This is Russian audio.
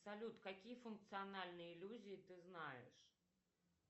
салют какие функциональные иллюзии ты знаешь